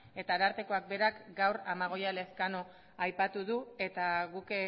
eta arartekoak berak gaur amagoia elezkano aipatu du eta guk